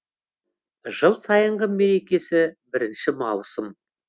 жыл сайынғы мерекесі бірінші маусым